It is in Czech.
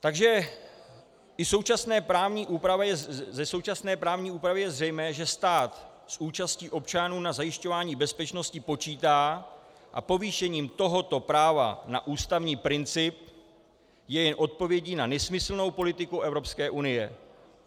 Takže i ze současné právní úpravy je zřejmé, že stát s účastí občanů na zajišťování bezpečnosti počítá, a povýšení tohoto práva na ústavní princip je jen odpovědí na nesmyslnou politiku Evropské unie.